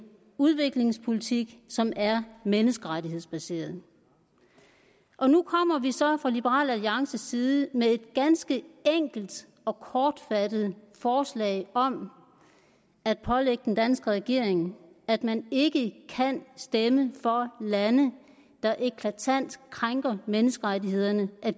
udviklingspolitik som er menneskerettighedsbaseret og nu kommer vi så fra liberal alliances side med et ganske enkelt og kortfattet forslag om at pålægge den danske regering at man ikke kan stemme for at lande der eklatant krænker menneskerettighederne